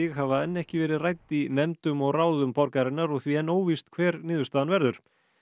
hafa enn ekki verið rædd í nefndum og ráðum borgarinnar og því enn óvíst hver niðurstaðan verður